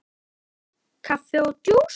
Kaffi og djús.